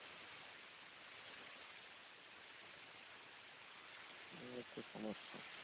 এই হচ্ছে সমস্যা